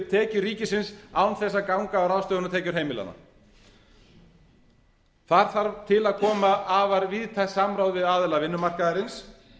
tekjur ríkisins án þess að ganga á ráðstöfunartekjur heimilanna þá þarf til að koma afar víðtækt samráð við aðila vinnumarkaðarins en þetta er hugmynd sem við leggjum í